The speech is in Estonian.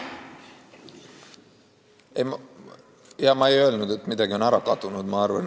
Ma ei öelnud, et midagi on ära kadunud.